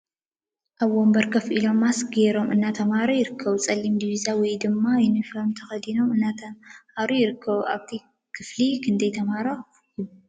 ኣብ ወንበር ከፍ ኢሎም ማስክ ገይሮም እናተመሃሩ ይርከቡ። ፀሊም ዲቢዛ ወይ ድማ ይንፎም ተከዲኖም እናተማሃራ ይርከባ ። ኣብቲ ክፍሊ ክንደይ ተማሃሮ ይርከባ?